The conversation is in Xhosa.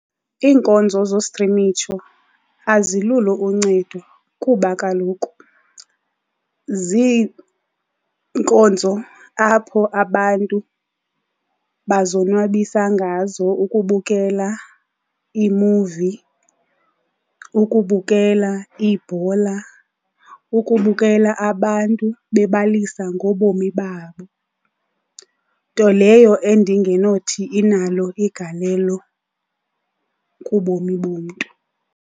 Iinkonzo zostrimisho azilulo uncedo kuba kaloku ziinkonzo apho abantu bazonwabisa ngazo ukubukela iimuvi, ukubukela ibhola, ukubukela abantu bebalisa ngobomi babo. Nto leyo endingenothi inalo igalelo kubomi bomntu.